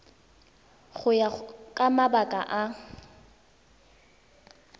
go ya ka mabaka a